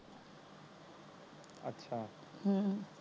ਹਮ